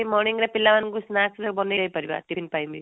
morning ରେ ପିଲାମାନଙ୍କୁ snacks ବନେଇକି ଦେଇ ପାରିବା tiffin ପାଇଁ